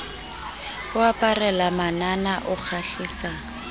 o aparela manana o kgahlisa